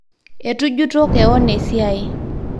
itujito kewon esiai